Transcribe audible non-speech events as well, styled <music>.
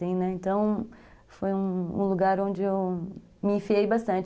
<unintelligible> Então foi um lugar onde eu me enfiei bastante.